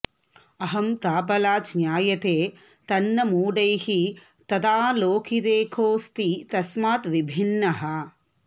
अहंताबलाज् ज्ञायते तन्न मूढैः तदालोकिते कोऽस्ति तस्माद् विभिन्नः